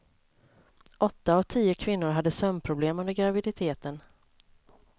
Åtta av tio kvinnor hade sömnproblem under graviditeten.